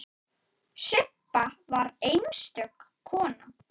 Sibba var einstök kona.